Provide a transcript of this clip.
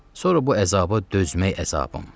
Sonra bu əzaba dözmək əzabım.